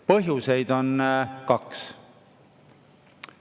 Põhjuseid on kaks.